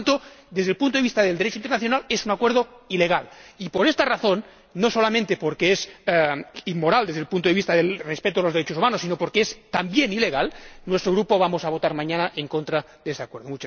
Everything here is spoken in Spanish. Por lo tanto, desde el punto de vista del Derecho internacional, es un acuerdo ilegal. Y por esta razón —no solamente porque es inmoral desde el punto de vista del respeto de los derechos humanos, sino porque es, también, ilegal—, nuestro Grupo va a votar mañana en contra de este Acuerdo.